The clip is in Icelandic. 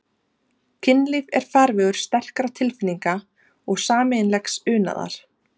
Kynlíf er farvegur sterkra tilfinninga og sameiginlegs unaðar.